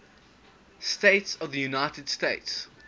states of the united states